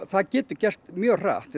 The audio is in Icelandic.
það getur gerst mjög hratt